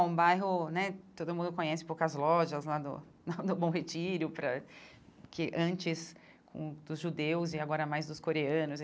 É um bairro né todo mundo conhece poucas lojas lá do do Bom Retiro, porque antes com dos judeus e agora mais dos coreanos.